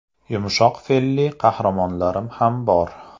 Yumshoq fe’lli qahramonlarim ham bor.